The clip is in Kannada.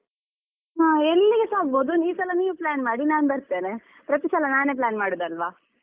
ಹಾ ಎಲ್ಲಿಗೆಸಾ ಆಗ್ಬೋದು ಈ ಸಲ ನೀವ್ plan ಮಾಡಿ ನಾನ್ ಬರ್ತೇನೆ. ಪ್ರತಿಸಲ ನಾನೇ plan ಮಾಡುದಲ್ವಾ.